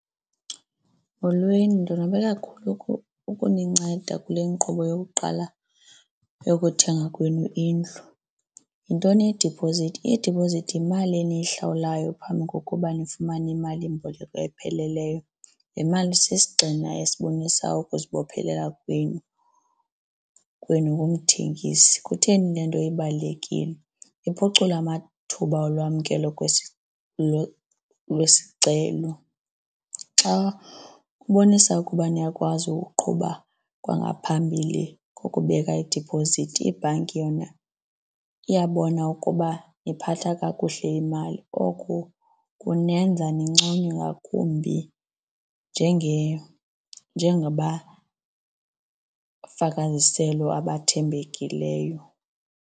Molweni, ndonwabe kakhulu ukuninceda kule nkqubo yokuqala yokuthenga kwenu indlu. Yintoni idiphozithi? Idiphozithi yimali eniyihlawulayo phambi kokuba nifumane imalimboleko epheleleyo. Le mali sisigxina esibonisa ukuzibophelela kwenu kwenu kumthengisi. Kutheni le nto ibalulekile? Iphucula amathuba olwamkelo lwesicelo. Xa kubonisa ukuba niyakwazi ukuqhuba kwangaphambili ngokubeka idiphozithi ibhanki yona iyabona ukuba niphathe kakuhle imali. Oko kunenza ninconywe ngakumbi njengabafaka iziselo abathembekileyo.